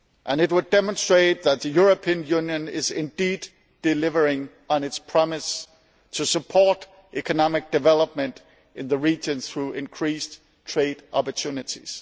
It would demonstrate that the European Union is indeed delivering on its promise to support economic development in the region through increased trade opportunities.